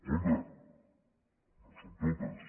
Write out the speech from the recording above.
compte no són totes